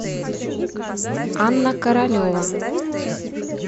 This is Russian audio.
анна королева